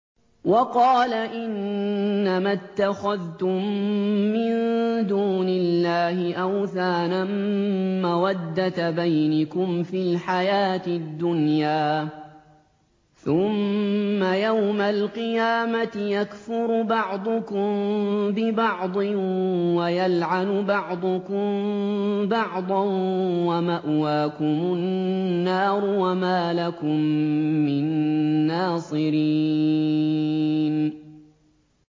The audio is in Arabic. وَقَالَ إِنَّمَا اتَّخَذْتُم مِّن دُونِ اللَّهِ أَوْثَانًا مَّوَدَّةَ بَيْنِكُمْ فِي الْحَيَاةِ الدُّنْيَا ۖ ثُمَّ يَوْمَ الْقِيَامَةِ يَكْفُرُ بَعْضُكُم بِبَعْضٍ وَيَلْعَنُ بَعْضُكُم بَعْضًا وَمَأْوَاكُمُ النَّارُ وَمَا لَكُم مِّن نَّاصِرِينَ